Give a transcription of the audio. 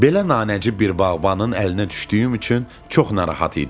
Belə nanəcib bir bağbanın əlinə düşdüyüm üçün çox narahat idim.